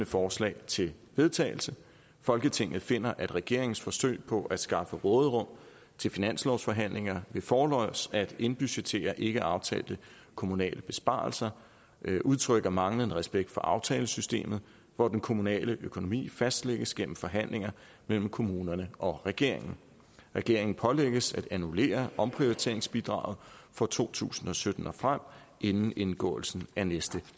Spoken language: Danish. forslag til vedtagelse folketinget finder at regeringens forsøg på at skaffe råderum til finanslovsforhandlinger ved forlods at indbudgettere ikkeaftalte kommunale besparelser udtrykker manglende respekt for aftalesystemet hvor den kommunale økonomi fastlægges gennem forhandlinger mellem kommunerne og regeringen regeringen pålægges at annullere omprioriteringsbidraget fra to tusind og sytten og frem inden indgåelsen af næste